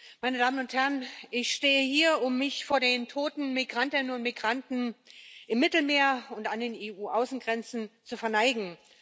Herr Präsident, meine Damen und Herren! Ich stehe hier, um mich vor den toten Migrantinnen und Migranten im Mittelmeer und an den EU Außengrenzen zu verneigen.